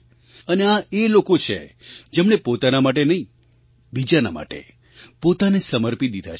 અને આ એ લોકો છે જેમણે પોતાના માટે નહીં બીજાના માટે પોતાને સમર્પી દીધા છે